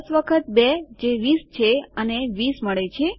૧૦ વખત ૨ જે 20 છે અને ૨૦ મળે છે